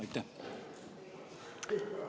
Aitäh!